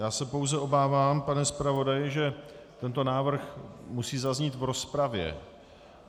Já se pouze obávám, pane zpravodaji, že tento návrh musí zaznít v rozpravě.